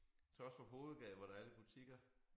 Taastrup Hovedgade hvor der er lidt butikker